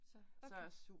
Så, okay